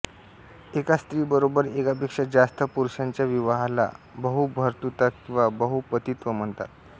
एका स्त्रीबरोबर एकापेक्षा जास्त पुरुषांच्या विवाहाला बहुभर्तृता किंवा बहुपतित्व म्हणतात